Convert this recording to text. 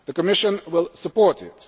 The Commission will support